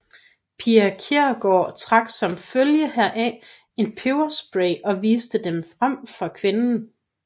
Pia Kjærsgaard trak som følge heraf en peberspray og viste den frem for kvinden